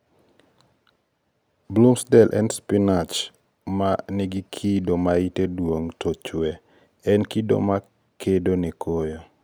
Bloomsdale en spinach ma ni gi kido ma yite duong to chwee- en kido ma kedo ne koyo.